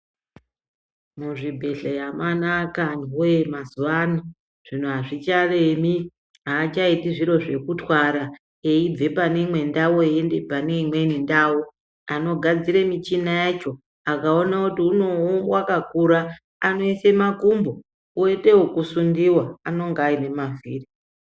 Muzvibhehleya mwanaka antuwe mazuwa ano zvino azvicharemi achaiiti zviro zvekutwara eibva pandau eienda pamweni ndau anogadzira michina yacho akaona kuti wakakura anoisa makumbo oita ekusundiwa anenge aine mavhiri.